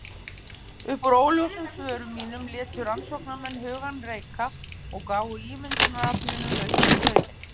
Upp úr óljósum svörum mínum létu rannsóknarmenn hugann reika og gáfu ímyndunaraflinu lausan tauminn.